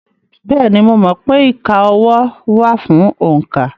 Bẹ́ẹ̀ni, mo mọ̀ pé ìka ọwọ́ wà fún òǹkà.